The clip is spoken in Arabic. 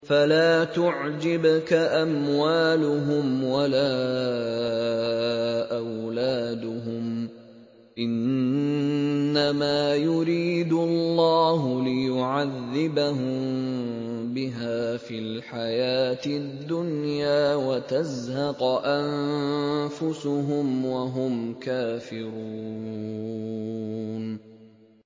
فَلَا تُعْجِبْكَ أَمْوَالُهُمْ وَلَا أَوْلَادُهُمْ ۚ إِنَّمَا يُرِيدُ اللَّهُ لِيُعَذِّبَهُم بِهَا فِي الْحَيَاةِ الدُّنْيَا وَتَزْهَقَ أَنفُسُهُمْ وَهُمْ كَافِرُونَ